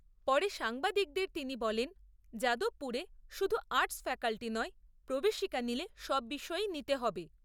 পরে সাংবাদিকদের তিনি বলেন, যাদবপুরে শুধু আর্টস ফ্যাকাল্টি নয় প্রবেশিকা নিলে সব বিষয়েই নিতে হবে।